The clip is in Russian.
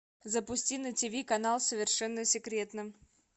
запусти на тв канал совершенно секретно